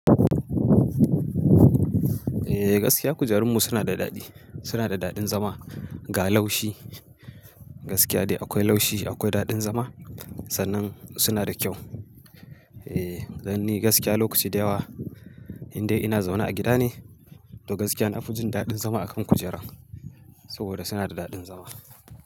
Eh gaskiya kujerunmu suna da daɗi, suna da daɗin zama, ga laushi gaskiya dai akwai laushi, akwai daɗin zama sannan suna da kyau. Eh dan ni gaskiya lokaci da yawa in dai ina zaune a gida ne to gaskiya na fi jin daɗin zama akan kujera saboda suna da daɗin zama.